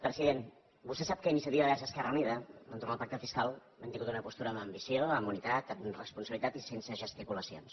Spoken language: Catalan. president vostè sap que iniciativa verds esquerra unida entorn al pacte fiscal hem tingut una postura amb ambició amb unitat amb responsabilitat i sense gesticulacions